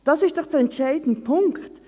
– Dies ist doch der entscheidende Punkt.